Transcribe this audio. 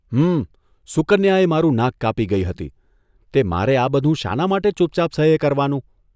હમમ.. સુકન્યા એ મારું નાક કાપી ગઇ હતી તે મારે આ બધું શાના માટે ચૂપચાપ સહયે કરવાનું?